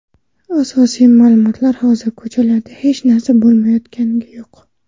Asosiy ma’lumotlar Hozir ko‘chalarda hech narsa bo‘layotgani yo‘q.